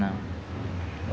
Não.